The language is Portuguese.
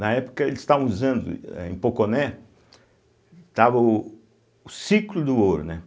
Na época, eles estavam usando, âh em Poconé, estava o o ciclo do ouro, né.